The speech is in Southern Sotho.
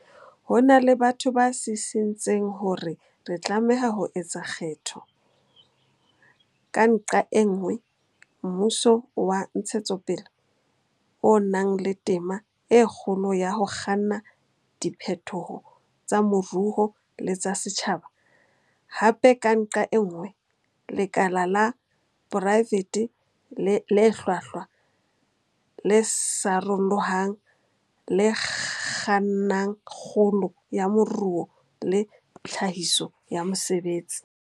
Ho na le batho ba sisintseng hore re tlameha ho etsa kgetho, ka nqa e nngwe, mmuso wa ntshetsopele o nang le tema e kgolo ya ho kganna diphetoho tsa moruo le tsa setjhaba, hape, ka nqa e nngwe, lekala la poraefete le hlwahlwa, le sarolohang, le kgannang kgolo ya moruo le tlhahiso ya mesebetsi.